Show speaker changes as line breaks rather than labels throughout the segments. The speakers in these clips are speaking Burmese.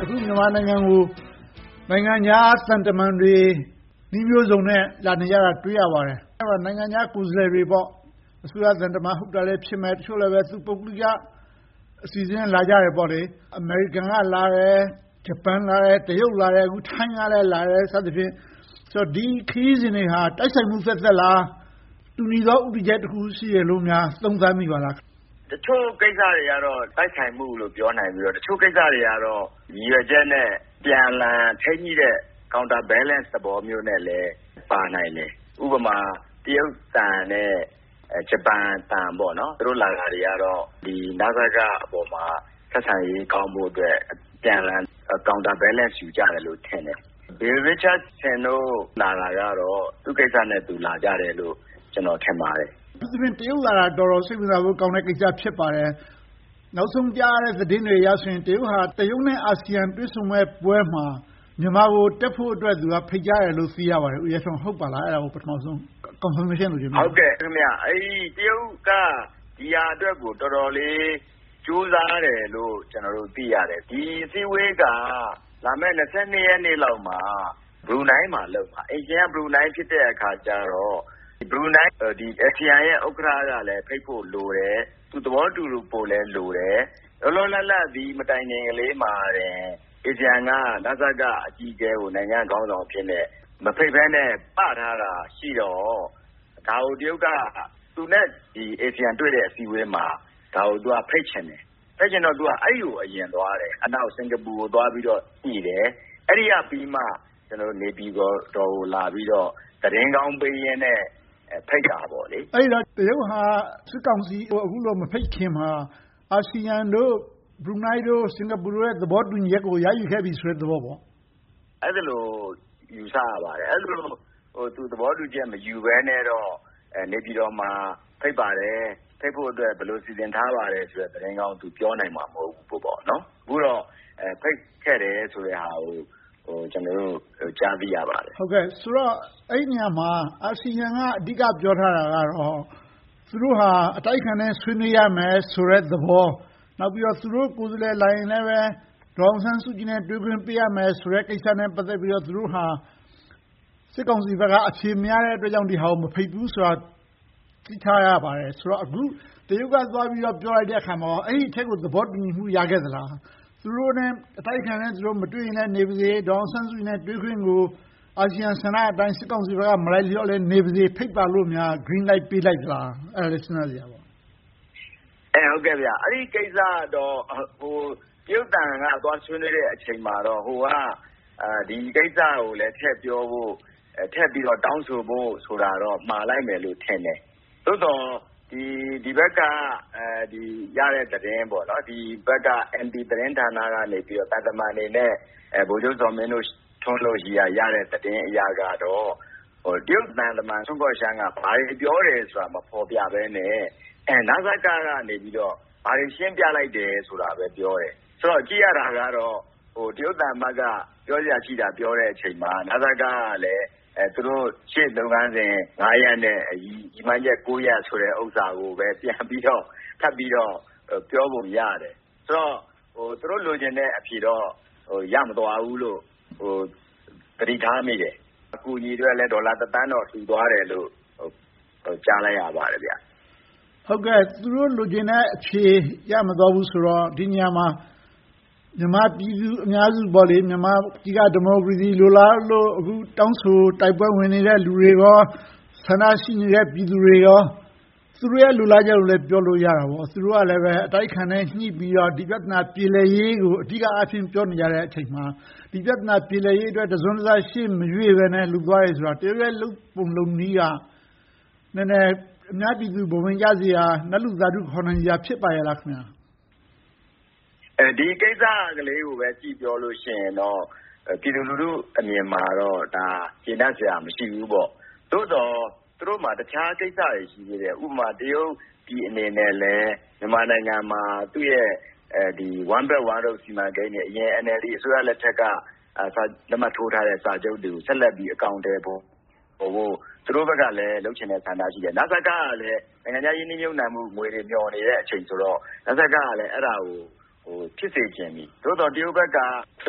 အခု မြန်မာနိုင်ငံကို နိုင်ငံခြားသံတမန်တွေ နည်းမျိုးစုံနဲ့ လာနေကြတာကို တွေ့ရပါတယ်။ နိုင်ငံခြားကိုယ်စားလှယ်တွေ - အစိုးရသံတမန် ဟုတ်တာလည်း ဖြစ်မယ်။ တချို့လဲပဲ ပုဂ္ဂလိက အစီအစဉ်နဲ့ လာကြတယ်။ အမေရိကန်လာတယ်။ ဂျပန်လာတယ်။ တရုတ်လာတယ်။ အခု ထိုင်းကလည်း လာတယ် စသည်ဖြင့်။ ဒီခရီးစဉ်တွေဟာ တိုက်ဆိုင်မှုသက်သက်ပဲလား။ တူညီတဲ့ ဦးတည်ချက်တခု ရှိတယ်လိုများ သုံးသပ်မိပါသလား။
တချို့ကိစ္စတွေကတော့ တိုက်ဆိုင်မှုလို့ ပြောနိုင်ပြီး၊ တချို့ကိစ္စတွေကတော့ ရည်ရွယ်ချက်နဲ့ အပြန်အလှန် ထိန်းညှိတဲ့ counter balance သဘောမျိုးနဲ့လည်း ပါနိုင်တယ်။ ဥပမာ တရုတ်သံနဲ့ ဂျပန်သံ - သူတို့ လာတာတွေကတော့ နစကပေါ်မှာ ဆက်ဆံရေးကောင်းဖို့အတွက် အပြန်အလှန် counter balance ယူကြတယ်လို့ ထင်တယ်။ Bill Richardson တို့ လာတာကတော့ သူ့ကိစ္စနဲ့သူ လာကြတယ်လို့ ကျနော် ထင်ပါတယ်။
အထူးသဖြင့် တရုတ်လာတာ တော်တော်စိတ်ဝင်စားဖို့ကောင်းတဲ့ ကိစ္စ ဖြစ်ပါတယ်။ နောက်ဆုံးကြားရတဲ့ သတင်းတွေအရဆိုရင် တရုတ်က တရုတ်နဲ့ အာဆီယံ တွေ့ဆုံမယ့်ပွဲမှာ မြန်မာကို တက်ဖို့အတွက် ဖိတ်ကြားတယ်လို့ သိရပါတယ်။ ဦးရဲထွန်း ဟုတ်ပါသလား။ အဲဒါကို ပထမဦးဆုံး ကောက်နုတ်ချက်အနေနဲ့ သုံးသပ်ပြပါ။
တရုတ်က ဒီဟာအတွက်ကို တော်တော်လေး ကြိုးစားတယ်လို့ ကျနော်တို့ သိရတယ်။ ဒီအစည်းအဝေးက လာမယ့် ရက်နေ့လောက်မှာ ဘရူးနိုင်းမှာ လုပ်မှာ။ အိမ်ရှင်က ဘရူးနိုင်း ဖြစ်တဲ့အခါကြတော့ အာဆီယံရဲ့ ဥက္ကဋ္ဌကလည်း ဖိတ်ဖို့လိုတယ်။ သူသဘောတူဖို့လည်း လိုတယ်။ လောလောလတ်လတ် ဒီမတိုင်ခင်လေးမှာပင် အာဆီယံက နစကအကြီးအကဲကို နိုင်ငံခေါင်းဆောင်အဖြစ်နဲ့ မဖိတ်ဘဲနဲ့ ‘ပ’ထားတာရှိတော့ ဒါကို တရုတ်က သူနဲ့ အာဆီယံ တွေ့ဆုံမယ့် အစည်းအဝေးမှာ ဒါကိုဖိတ်ချင်တယ်။ ဖိတ်ချင်တော့ အဲဒီကို အရင်သွားတယ်။ နောက် စင်္ကာပူကို သွားပြီးတော့ညှိတယ်။ အဲဒီကပြီးမှ နေပြည်တော်ကို လာပြီးတော့ သတင်းကောင်းပေးရင်နဲ့ ဖိတ်တာပေါ့။
အဲဒီတော့ တရုတ်က စစ်ကောင်စီကို အခုလို မဖိတ်ခင်မှာ အာဆီယံတို့ ဘရူးနိုင်း၊ စင်္ကာပူတို့နဲ့ သဘောတူညီမှု ရယူခဲ့ပြီးပြီဆိုတဲ့ သဘောပေါ့။
အဲဒီလို ယူဆရပါတယ်။ အဲဒီလို သူ သဘောတူညီမှု မယူဘဲနဲ့တော့ နေပြည်တော်မှာ ဖိတ်ပါတယ်။ ဖိတ်ဖို့အတွက် ဘယ်လိုစီစဉ်ထားပါတယ်ဆိုတဲ့ သတင်းကောင်းကို ပြောနိုင်မှာ မဟုတ်ဘူးပေါ့။ အခုတော့ ဖိတ်ခဲ့တယ်ဆိုတဲ့ဟာကို ကျနော်တို့ ကြားသိရပါတယ်။
ဆိုတော့ အဲဒီနေရာမှာ အာဆီယံက အဓိက ပြောထားတာကတော့ သူတို့ဟာ အတိုက်အခံနဲ့ ဆွေးနွေးရမယ်ဆိုတဲ့သဘော။ သူတို့ကိုယ်စားလှယ် လာရင်လဲပဲ ဒေါ်အောင်ဆန်းစုကြည်နဲ့ တွေ့ခွင့်ပေးရမယ်ဆိုတဲ့ ကိစ္စနဲ့ ပတ်သက်ပြီးတော့ သူတို့ဟာ စစ်ကောင်စီဘက်က အဖြေမရတဲ့အတွက် နစကကို မဖိတ်ဘူးဆိုတာကို သိထားရပါတယ်။ အခု တရုတ်က သွားပြီးပြောလိုက်တဲ့အခါမှာ အဲဒီအချက်ကို သဘောတူညီမှု ရခဲ့သလား။ အတိုက်အခံနဲ့ သူတို့ မတွေ့ရလဲ နေပါစေ၊ ဒေါ်အောင်ဆန်းစုကြည်နဲ့ တွေ့ခွင့်ကို အာဆီယံဆန္ဒအတိုင်း စစ်ကောင်စီဘက်က မလိုက်လျောနဲ့ နေပါစေ၊ ဖိတ်ပါလို့များ Green Light ပေးလိုက်သလား။ အဲဒါလဲ စဉ်းစားစရာပါပဲ။
အဲဒီကိစ္စကတော့ တရုတ်သံက သွားဆွေးနွေးတဲ့အချိန်မှာတော့ အာဆီယံက ဒီကိစ္စကိုလည်း ထည့်ပြီးတော့ တောင်းဆိုဖို့ဆိုတာတော့ မှာလိုက်မယ်လို့တော့ထင်တယ်။ သို့သော် ဒီဘက်ကရတဲ့ သတင်း - နေပြည်တော်သတင်းဌာနကနေ သံတမန်တွေနဲ့ ဗိုလ်ချုပ်ဇော်မင်းထွန်းတို့ဘက်ကရတဲ့ သတင်းတွေအရတော့ တရုတ်သံတမန်က ဘာတွေပြောတယ်ဆိုတာကို မဖော်ပြဘဲနဲ့ နစကကနေပြီးတော့ ဘာတွေရှင်းပြလိုက်တယ်ဆိုတာကိုပဲ ပြောတယ်။ ကြည့်ရတာက တရုတ်သံအမတ်က ပြောစရာရှိတာ ပြောတဲ့အခါမှာ နစကကလည်း သူတို့ရှေ့လုပ်ငန်း ရပ်နဲ့ ရည်မှန်းချက် ရပ်ကိုပဲ ပြန်ပြီးတော့ ထပ်ပြီးတော့ ပြောပုံရတယ်။ ဆိုတော့ သူတို့လိုချင်တဲ့ အဖြေတော့ ရမသွားဘူးလို့ သတိထားမိတယ်။ အကူအညီအတွက်လည်း ဒေါ်လာ သန်းတော့ လှူသွားတယ်လို့ ကြားလိုက်ရပါတယ်။
သူတို့လိုချင်တဲ့အဖြေ ရမသွားဘူးဆိုတော့ ဒီနေရာမှာ မြန်မာပြည်သူအများစု မြန်မာပြည်က ဒီမိုကရေစီ လိုလားလို့ အခုတောင်းဆိုတိုက်ပွဲဝင်နေတဲ့ လူတွေကော၊ ဆန္ဒရှိနေတဲ့ ပြည်သူတွေကော သူတို့ရဲ့ လိုလားချက်ကိုလည်း ပြောလို့ရတာပေါ့။ သူတို့လည်း အတိုက်အခံနဲ့ ညှိပြီးတော့ ဒီဘက်ပြဿနာ ပြေလည်ရေးကို အဓိကအားဖြင့် ပြောနေကြတဲ့အချိန်မှာ ဒီပြဿနာ ပြေလည်ရေးအတွက် တစုံတရာ ရှေ့မရွေ့ဘဲနဲ့ လုပ်သွားတယ်ဆိုတာ တရုတ်ရဲ့ လုပ်ပုံလုပ်နည်းက နည်းနည်း အများပြည်သူ ဘဝင်ကျစရာ နတ်လူသာဓု ခေါ်နိုင်စရာ ဖြစ်ပါ့ရဲ့လား။
ဒီကိစ္စကလေးကိုပဲ ကြည့်ပြောမယ်ဆိုရင်တော့ ပြည်သူလူထုအမြင်မှာတော့ ဒါက ကျေနပ်စရာ မရှိဘူးပေါ့။ သို့သော် သူတို့မှာ တခြားကိစ္စတွေ ရှိသေးတယ်။ ဥပမာ တရုတ်ပြည်အနေနဲ့လဲ မြန်မာပြည်မှာ သူ့ရဲ့ One Belt One Road စီမံကိန်းတွေ၊ အရင် NLD အစိုးရလက်ထက်က လက်မှတ်ထိုးထားတဲ့ စာချုပ်တွေကို ဆက်လက်ပြီး အကောင်အထည်ဖော်ဖို့ သူတို့ဘက်ကလဲ လုပ်ချင်တဲ့ ဆန္ဒ ရှိတယ်။ နစကကလဲ နိုင်ငံခြားရင်းနှီးမြုပ်နံှမှုငွေ မျှော်နေတဲ့အချိန်ဆိုတော့ နစကကလည်း အဲဒါကို ဖြစ်စေချင်ပြီ။ သို့သော် တရုတ်ဘက်ကလဲ သူ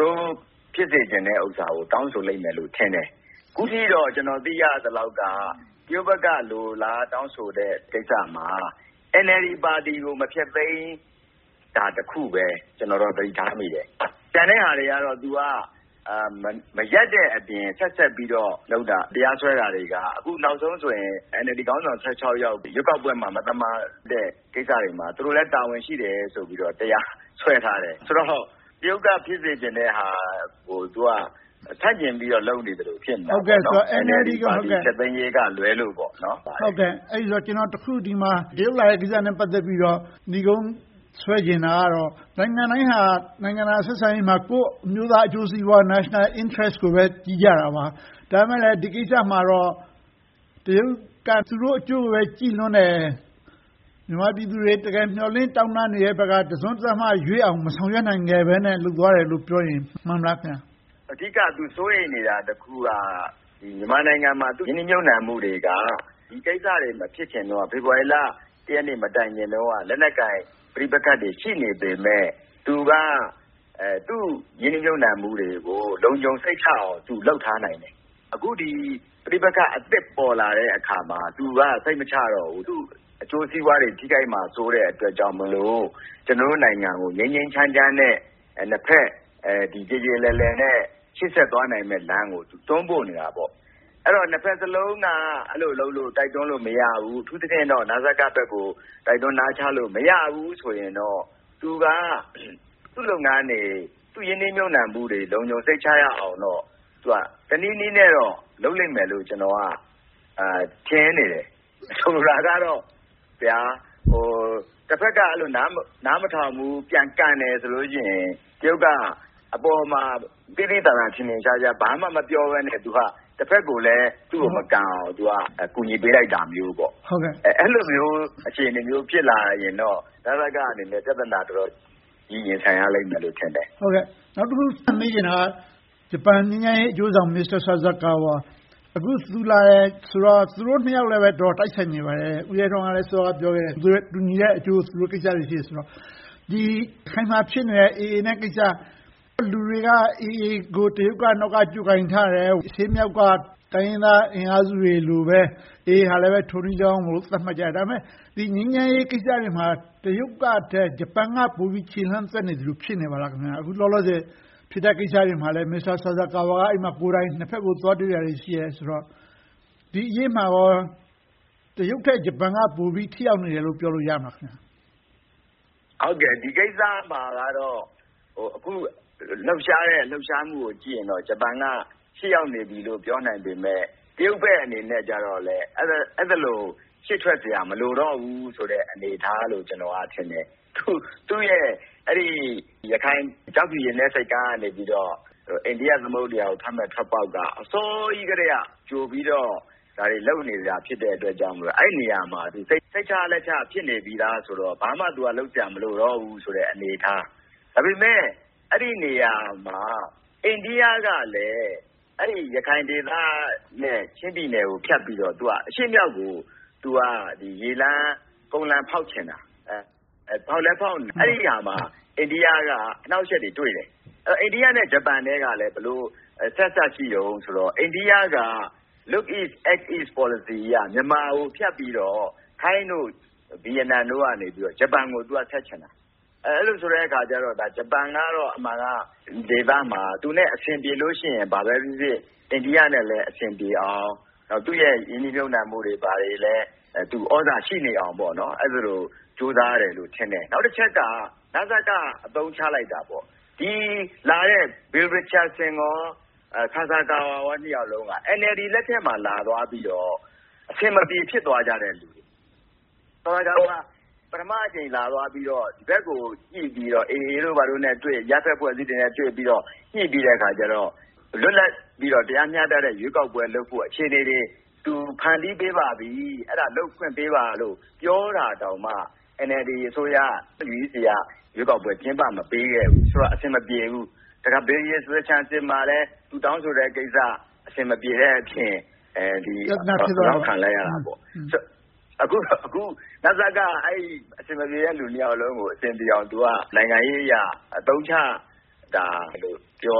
တို့ဖြစ်စေချင်တဲ့ အရာတွေကို တောင်းဆိုလိမ့်မယ် ထင်တယ်။ အခုထိတော့ ကျနော်သိရသလောက်တော့ တရုတ်ဘက်က လိုလားတောင်းဆိုတဲ့ ကိစ္စမှာ NLD ပါတီကို မဖျက်သိမ်းတာတစ်ခုပဲ ကျနော်တော့ သတိထားမိတယ်။ ကျန်တဲ့ဟာတွေကတော့ သူက မရပ်တဲ့အပြင် ဆက်ပြီးတော့ လုပ်တာတွေက တရားစွဲတာတွေက အခုနောက်ဆုံးဆိုရင် NLD ခေါင်းဆောင် ယောက် ရွေးကောက်ပွဲမှာ မသမာတဲ့ ကိစ္စတွေမှာ သူတို့လည်း တာဝန်ရှိတယ်ဆိုပြီးတော့ တရားစွဲထားတယ်။ ဆိုတော့ တရုတ်က ဖြစ်စေချင်တဲ့ဟာကို သူက ဆန့်ကျင်ပြီးတော့ လုပ်နေသလို ဖြစ်နေတယ်။ NLD ဖျက်သိမ်းရေးကလွဲလို့ပါ။
ကျနော် တရုတ်လာတဲ့ကိစ္စနဲ့ ပတ်သက်ပြီးတော့ နိဂုံးဆွဲချင်တာကတော့ နိုင်ငံတိုင်းဟာ နိုင်ငံတကာဆက်ဆံရေးမှာ ကိုယ့်အမျိုးသား အကျိုးစီးပွား national interest ကိုပဲ ကြည့်ကြတာပါ။ ဒါပေမဲ့လဲ ဒီကိစ္စမှာတော့ တရုတ်က သူတို့အကျိုးကိုပဲ ကြည့်လွန်တယ်။ မြန်မာပြည်သူတွေ တကယ်မျှော်လင့်တောင်းတနေတဲ့ဘက်က တစွန်းတစမျှရွေ့အောင် မဆောင်ရွက်နိုင်ဘဲနဲ့ လုပ်သွားတယ်လို့ပြောရင် မှန်သလား။
အဓိက သူစိုးရိမ်နေတာ တစ်ခုက မြန်မာနိုင်ငံမှာ ရင်းနှီးမြုပ်နံှမှုတွေက ဒီကိစ္စတွေ မဖြစ်ခင်တုန်းက ဖေဖေါ်ဝါရီလ ရက်နေ့ မတိုင်ခင် လက်နက်ကိုင် ပဋိပက္ခတွေ ရှိနေပေမယ့် သူ့ရင်းနှီးမြုပ်နံှမှုတွေကို လုံခြုံစိတ်ချအောင် သူလုပ်ထားနိုင်တယ်။ အခု ပဋိပက္ခအသစ် ပေါ်လာတဲ့အခါမှာ သူက စိတ်မချရတော့ဘူး။ သူ့အကျိုးစီးပွားတွေ ထိခိုက်မှာစိုးတဲ့အတွက်ကြောင့် ကျနော်တို့နိုင်ငံကို ငြိမ်းငြိမ်းချမ်းချမ်းနဲ့ နှစ်ဘက်ပြေပြေလည်လည်နဲ့ ရှေ့ဆက်သွားနိုင်မယ့်လမ်းကို တွန်းပို့နေတာပေါ့။ ဆိုတော့ နှစ်ဘက်စလုံးက အဲဒီလိုလုပ်လို့ တိုက်တွန်းလို့ မရဘူး။ အထူးသဖြင့် နစကဘက်ကို တိုက်တွန်းနာချလို့ မရဘူးဆိုရင်တော့ သူက သူ့လုပ်ငန်းတွေ သူ့ရင်းနှီးမြုပ်နံှမှုတွေ လုံခြုံစိတ်ချရအောင်တော့ တနည်းနည်းနဲ့ လုပ်လိမ့်မယ်လို့ ကျနော်က ထင်နေတယ်။ ဆိုလိုတာကတော့ တဘက်က နားမထောင်ဘူး၊ ပြန်ကန်တယ်ဆိုရင် တရုတ်က အပေါ်မှာ သိသိသာသာ ထင်ထင်ရှားရှား ဘာမှမပြောဘဲနဲ့ တဘက်ကိုလည်း သူ့ကိုမကန်အောင် အကူအညီပေးလိုက်တာမျိုးပါ။ အဲဒီလိုမျိုး အခြေအနေမျိုး ဖြစ်လာရင်တော့ နစကအနေနဲ့ ပြဿနာ တော်တော်ကြီးကြီးမားမား ရင်ဆိုင်ရလိမ့်မယ်လို့ ထင်တယ်။
နောက်တခု ထပ်မေးချင်တာက ဂျပန်ငြိမ်းချမ်းရေးအကျိုးဆောင် မစ္စတာဆာဆာကာဝါ - အခု သူလာတယ်ဆိုတော့ သူတို့နှစ်ယောက်လည်း တော်တော်တိုက်ဆိုင်နေပါတယ်။ ဦးရဲထွန်းက စောစောကလဲ ပြောခဲ့တယ်။ တူညီတဲ့အကျိုး သူတို့ကိစ္စတွေ ရှိတယ်ဆိုတော့ ရခိုင်မှာဖြစ်နေတဲ့ AA နဲ့ကိစ္စ၊ လူတွေက AA ကို တရုတ်က နောက်ကနေ ကြိုးကိုင်ထားတယ်။ အရှေ့မြောက်က တိုင်းရင်းသားအင်အားစုတွေလိုပဲ AA ကလည်း ထိုနည်းလည်းကောင်းလို့ သတ်မှတ်ကြတယ်။ ဒါပေမဲ့ ဒီငြိမ်းချမ်းရေးကိစ္စတွေမှာ တရုတ်ထက် ဂျပန်က ပိုပြီးတော့ ခြေလှမ်းသွက်နေသလို ဖြစ်နေပါလား။ အခုလောလောဆယ် ဖြစ်နေတဲ့ကိစ္စတွေမှာလဲ မစ္စတာဆာဆာကာဝါက နှစ်ဘက်ကို သွားတွေ့တာတွေ ရှိနေတယ်ဆိုတော့ ဒီအရေးမှာကော တရုတ်ထက် ဂျပန်က ပိုပြီးထိရောက်နေတယ်လို့ ပြောလို့ရမလား။
ဒီကိစ္စမှာကတော့ အခုလှုပ်ရှားနေတဲ့ လှုပ်ရှားမှုကို ကြည့်ရင်တော့ ဂျပန်က ရှေ့ရောက်နေပြီလို့ ပြောနိုင်ပေမယ့် တရုတ်ဘက်အနေနဲ့တော့ အဲဒီလို ရှေ့ထွက်စရာ မလိုတော့ဘူးဆိုတဲ့ အနေအထားလို့ ကျနော်ထင်တယ်။ သူ့ရဲ့ ရခိုင်ကျောက်ဖြူရေနက်ဆိပ်ကမ်းကနေ အိန္ဒိယသမုဒ္ဒရာကိုထွက်မယ့် ထွက်ပေါက်က အစောကြီးကတည်းက ဒါတွေလုပ်နေတာ ဖြစ်တဲ့အတွက်ကြောင့် အဲဒီနေရာမှာ စိတ်ချလက်ချ ဖြစ်နေပြီသားဆိုတော့ ဘာမှလုပ်စရာ မလိုတော့ဘူးဆိုတဲ့ အနေအထား။ ဒါပေမဲ့ အဲဒီနေရာမှာ အိန္ဒိကကလဲ ရခိုင်ဒေသနဲ့ ချင်းပြည်နယ်ကိုဖြတ်ပြီးတော့ အရှေ့-မြောက်ကို ရေလမ်း၊ ကုန်လမ်း ဖောက်ချင်တာ။ အဲဒီနေရာမှာ အိန္ဒိယက အနှောင့်အယှက်တွေ တွေ့တယ်။ အိန္ဒိယနဲ့ ဂျပန်ကလည်း ဘယ်လိုအဆက်အစပ် ရှိသလဲဆိုတော့ အိန္ဒိယက Look East Act East Policy အရ မြန်မာကိုဖြတ်ပြီးတော့ ထိုင်း၊ ဗိယက်နမ်တို့ကနေ ဂျပန်ကို ဆက်ချင်တာ။ အဲဒီလိုဆိုတော့ ဂျပန်ကတော့ အမှန်က ဒီဒေသမှာ သူနဲ့ အဆင်ပြေလို့ရှိရင် ဘာပဲဖြစ်ဖြစ် အိန္ဒိယနဲ့လည်း အဆင်ပြေအောင် သူ့ရဲ့ရင်းနှီးမြုပ်နံှမှုတွေလည်း သြဇာရှိနေအောင် အဲဒီလိုကြိုးစားတယ်လို့ ထင်တယ်။ နောက်တချက်က နစက အသုံးချလိုက်တာပေါ့။ လာခဲ့ကြတဲ့ Bill Richardson, မစ္စတာဆာဆာကာဝါ နှစ်ယောက်စလုံးက NLD လက်ထက်မှာ လာသွားပြီးတော့ အဆင်မပြေ ဖြစ်သွားကြတဲ့လူတွေ။ ဆာဆာကာဝါ ပထမအကြိမ် လာသွားပြီးတော့ ဒီဘက်ကို ညှိပြီးတော့ AA တို့ ဘာတို့နဲ့တွေ့၊ အရပ်ဘက်အဖွဲ့အစည်းတွေနဲ့ တွေ့ပြီးတော့ ညှိပြီးတဲ့အခါကြတော့ လွတ်လပ်ပြီးတော့ တရားမျှတတဲ့ ရွေးကောက်ပွဲလုပ်ဖို့ အခြေအနေတွေ ဖန်တီးပေးပါပြီ၊ အဲဒါတွေကို လုပ်ခွင့်ပေးပါလို့ ပြောတာတောင်မှ NLD အစိုးရ CEC က ရွေးကောက်ပွဲ ကျင်းပမပေးခဲ့ဘူး။ ဆိုတော့ အဆင်မပြေဘူး။ နောက် Bill Richardson နဲ့လည်း သူတောင်းဆိုတဲ့ကိစ္စ အဆင်မပြေတဲ့အပြင် ပြဿနာ ဖြစ်သွားတာပေါ့။ အခု နစကက အဲဒီ့အဆင်မပြေတဲ့ နှစ်ယောက်စလုံးကို အဆင်ပြေအောင် နိုင်ငံရေးအရ အသုံးချတာလို့ ပြော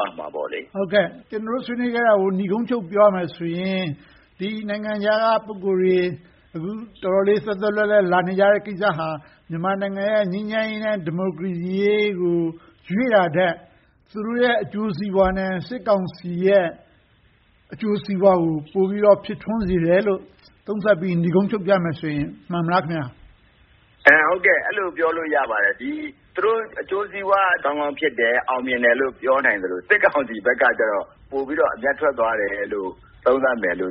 ရမှာပေါ့။
ကျနော်တို့ ဆွေးနွေးခဲ့တာတွေကို နိဂုံးချုပ်ပြောရမယ်ဆိုရင် နိုင်ငံခြားက ပုဂ္ဂိုလ်တွေ အခုတော်တော်လေး သွက်သွက်လက်လက် လာနေကြတဲ့ကိစ္စဟာ မြန်မာနိုင်ငံရဲ့ ငြိမ်းချမ်းရေးနဲ့ ဒီမိုကရေစီအရေးကို ရွေ့တာထက် သူတို့ရဲ့ အကျိုးစီးပွားနဲ့ စစ်ကောင်စီရဲ့ အကျိုးစီးပွားကို ပိုပြီးတော့ ဖြစ်ထွန်းစေတယ်လို့ သုံးသပ်ပြီး နိဂုံးချုပ်ကြမယ်ဆိုရင် မှန်မလား။
အဲဒီလို ပြောလို့ရပါတယ်။ သူတို့ အကျိုးစီးပွားကောင်းကောင်း ဖြစ်တယ်။ အောင်မြင်တယ်လို့ ပြောနိုင်သလို၊ စစ်ကောင်စီဘက်ကတော့ ပိုပြီးတော့ အမြတ်ထွက်သွားတယ်လို့ သုံးသပ်နို